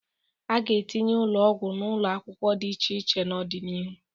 A ga-atinye ụlọgwụ n'ụlọakwụkwọ dị iche iche n'ọdị n'ihu.